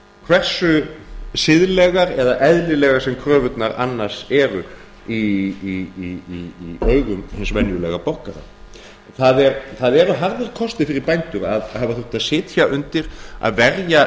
hversu siðlegar eða eðlilegar sem kröfurnar annars eru í augum hins venjulega borgara það eru harðir kostir fyrir bændur að hafa þurft að sitja undir að verja